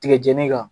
Tigɛjɛnii ka